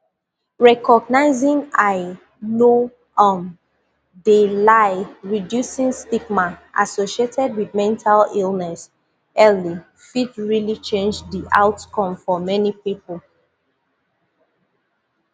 recognizing i no um de lie reducing stigma associated wit mental illness early fit realli change di outcome for many pipo